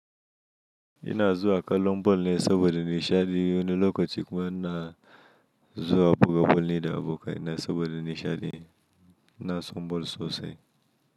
Ina zuwa kallon bol ne saɓoɗa ni shaɗi wani lokaci kuma ina. Zuwa buga bol ni da abokai ina saɓoɗa ne shaɗi ina son boll sosai.